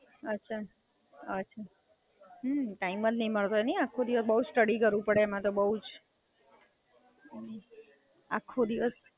હાં, ટાઇમ જ નહીં મળતો હોય નહીં આખો દિવસ બઉ સ્ટડિ કરવું પડે એમ તો બઉ જ.